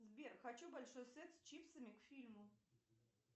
сбер хочу большой сет с чипсами к фильму